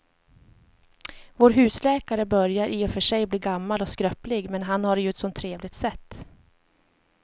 Vår husläkare börjar i och för sig bli gammal och skröplig, men han har ju ett sådant trevligt sätt!